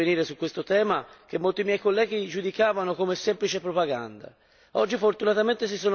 Sono stato fra i primi a intervenire su questo tema, che molti colleghi giudicavano come semplice propaganda.